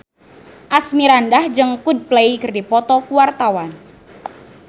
Asmirandah jeung Coldplay keur dipoto ku wartawan